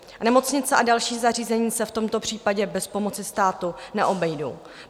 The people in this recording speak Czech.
Nemocnice a další zařízení se v tomto případě bez pomoci státu neobejdou.